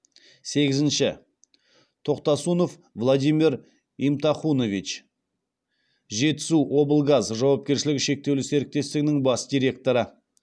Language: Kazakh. сегізінші тохтасунов владимир имтахунович жетысуоблгаз жауапкершілігі шектеулі серіктестігінің бас директоры